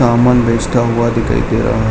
जामुन बेचता हुआ दिखाई दे रहा --